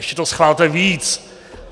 Ještě to schvalte víc!